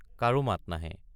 কাৰো মাত নাহে।